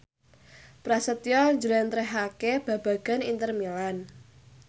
Prasetyo njlentrehake babagan Inter Milan